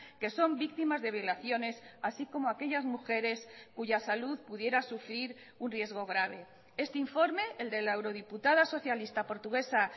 que son víctimas de violaciones así como aquellas mujeres cuya salud pudiera sufrir un riesgo grave este informe el de la eurodiputada socialista portuguesa